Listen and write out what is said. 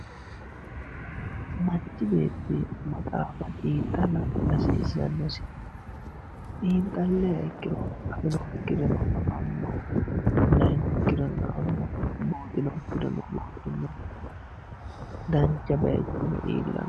manchi beetti maxaafa xiinxalla hasiissannosi xiinxalliha ikkiro afinokkireno afanno lainokkireno la''anno buuxinokkireno buuxanno dancha bayiichono iillanno.